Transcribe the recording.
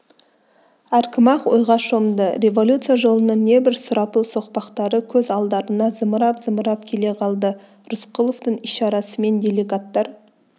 әркім-ақ ойға шомды революция жолының небір сұрапыл соқпақтары көз алдарына зымырап-зымырап келе қалды рысқұловтың ишарасымен делегаттар